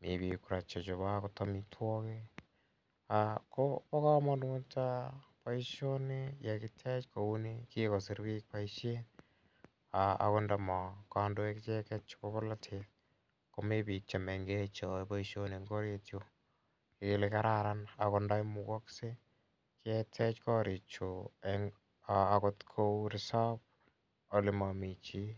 mi pik kora che chope agot amitwogik ako pa kamanut poishoni ye kitech kouni, kikosirwech poishet ago nda ma kandoik icheget chepo polotet komi chemengech che yae poishonik eng ' orit yu. Ngele kararan ago nda imugakse ketech karichu kou resop ole mami chi.